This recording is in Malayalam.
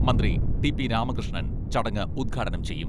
മന്ത്രി ടി പി രാമകൃഷ്ണൻ ചടങ്ങ് ഉദ്ഘാടനം ചെയ്യും.